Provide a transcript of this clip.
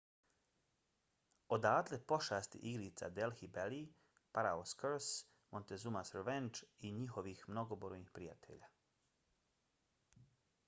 odatle pošasti igrica delhi belly pharaoh's curse montezuma's revenge i njihovih mnogobrojnih prijatelja